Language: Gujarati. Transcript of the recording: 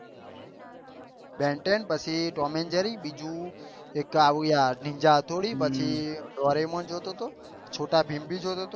બેન ટેન પછી ટોમ એન્ડ જેરી બીજું આવ્યા નિંજા હત્તોરી દોરેમોન જોતો હતો પછી છોટા ભીમ